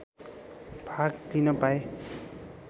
भाग लिन पाएँ